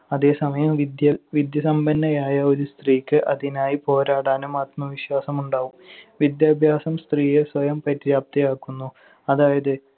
അതേസമയം വിദ്യ~ വിദ്യാസമ്പന്നയായ ഒരു സ്ത്രീക്ക് അതിനായി പോരാടാനും ആത്മവിശ്വാസമുണ്ടാകും. വിദ്യാഭ്യാസം സ്ത്രീയെ സ്വയം പര്യാപ്തയാക്കുന്നു. അതായത്